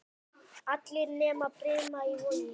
Allir nema Brimar í Vogi.